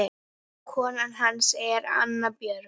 Kona hans er Anna Björg